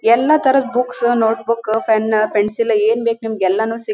ಎಲ್ಲ ತರದ್ books notebook pen pencil ಏನ್ ಬೇಕು ಎಲ್ಲಾನು--